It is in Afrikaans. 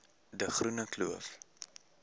de groene kloof